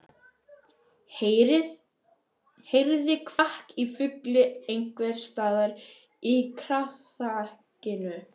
Heyrði kvak í fugli einhvers staðar í kraðakinu.